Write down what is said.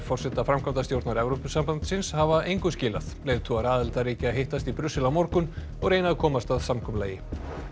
forseta framkvæmdastjórnar Evrópusambandsins hafa engu skilað leiðtogar aðildarríkja hittast í Brussel á morgun og reyna að komast að samkomulagi